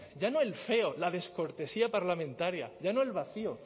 ya no el feo la descortesía parlamentaria ya no el vacío